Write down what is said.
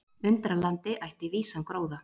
Undralandi ætti vísan gróða.